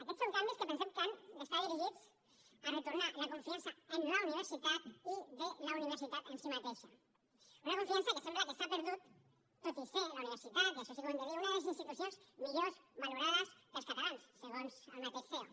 aquests són canvis que pensem que han d’estar dirigits a retornar la confiança en la universitat i de la universitat en si mateixa una confiança que sembla que s’ha perdut tot i ser la universitat i això sí que ho hem de dir una de les institucions millor valorades pels catalans segons el mateix ceo